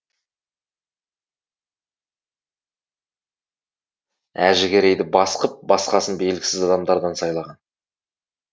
әжігерейді бас қып басқасын белгісіз адамдардан сайлаған